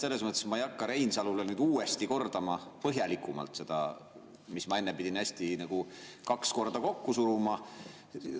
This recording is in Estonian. Selles mõttes, et ma ei hakka Reinsalule nüüd uuesti kordama põhjalikumalt seda, mida ma enne pidin kaks korda kokku suruma.